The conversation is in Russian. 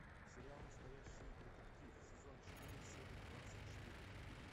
сериал настоящий детектив сезон четыре серия двадцать четыре